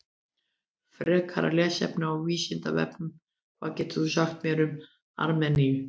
Frekara lesefni á Vísindavefnum: Hvað getur þú sagt mér um Armeníu?